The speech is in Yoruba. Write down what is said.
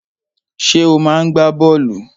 Ṣé ò máa ń gbá bọ́ọ̀lù?